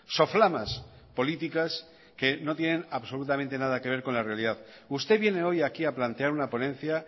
soflamas políticas que no tienen absolutamente nada que ver con la realidad usted viene hoy aquí a plantear una ponencia